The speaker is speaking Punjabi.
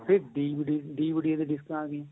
ਫ਼ੇਰ DVD DVD ਡਿਸਕਾਂ ਆਂ ਗਈਆਂ